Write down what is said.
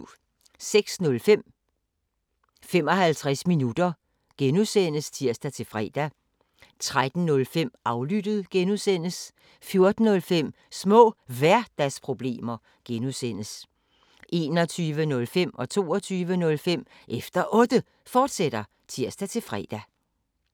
06:05: 55 minutter (G) (tir-fre) 13:05: Aflyttet (G) 14:05: Små Hverdagsproblemer (G) 21:05: Efter Otte, fortsat (tir-fre) 22:05: Efter Otte, fortsat (tir-fre)